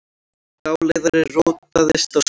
Dáleiðari rotaðist á sviði